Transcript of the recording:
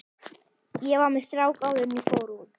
Ég var með strák áður en ég fór út.